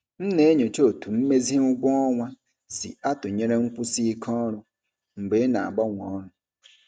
M na-enyocha otú mmezi ụgwọ ọnwa si atụnyere nkwụsi ike ọrụ mgbe ị na-agbanwe ọrụ.